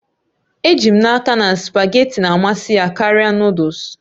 Eji m n'aka na spugeetí na-amasị ya karịa Nụ́dúls